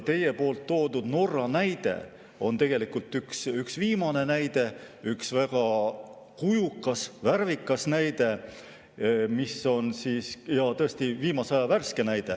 Teie toodud Norra näide on tegelikult üks viimane näide, üks väga kujukas, värvikas näide, viimase aja värske näide.